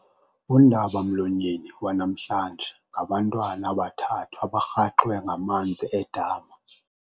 Undabamlonyeni wanamhlanje ngabantwana abathathu abarhaxwe ngamanzi edama.